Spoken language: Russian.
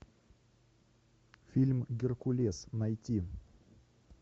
фильм геркулес найти